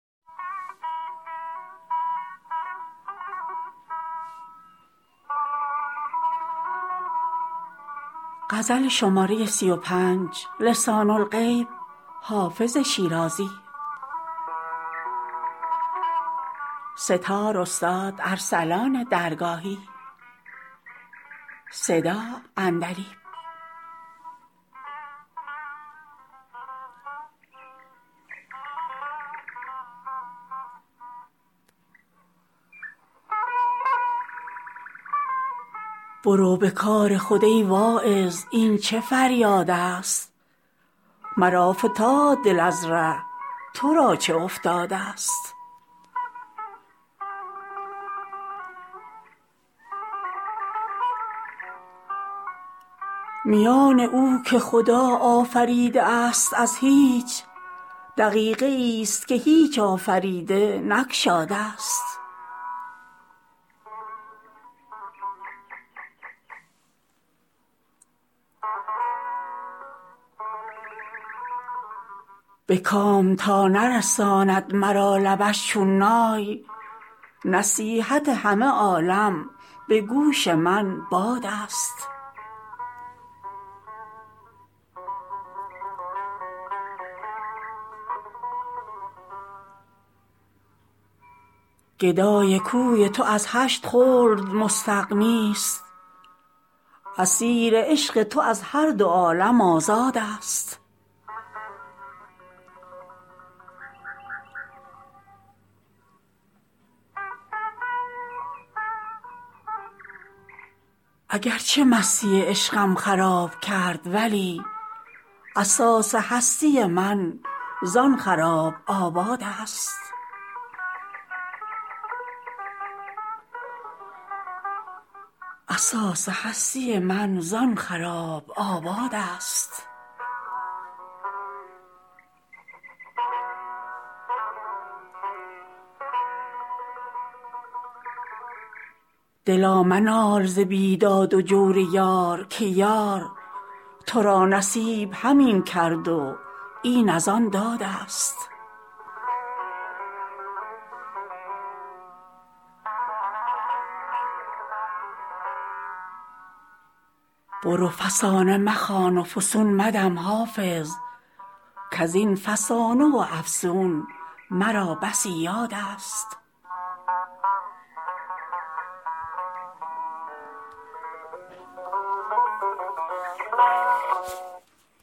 برو به کار خود ای واعظ این چه فریادست مرا فتاد دل از ره تو را چه افتادست میان او که خدا آفریده است از هیچ دقیقه ای ست که هیچ آفریده نگشادست به کام تا نرساند مرا لبش چون نای نصیحت همه عالم به گوش من بادست گدای کوی تو از هشت خلد مستغنی ست اسیر عشق تو از هر دو عالم آزادست اگر چه مستی عشقم خراب کرد ولی اساس هستی من زآن خراب آبادست دلا منال ز بیداد و جور یار که یار تو را نصیب همین کرد و این از آن دادست برو فسانه مخوان و فسون مدم حافظ کز این فسانه و افسون مرا بسی یادست